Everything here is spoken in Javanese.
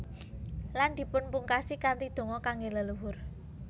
Lan dipunpungkasi kanthi donga kangge leluhur